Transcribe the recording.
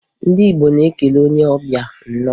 Ndị Igbo na-ekele onye ọbịa, "Nnọọ"